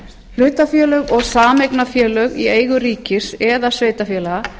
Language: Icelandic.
hlutafélög og sameignarfélög í eigu ríkis eða sveitarfélaga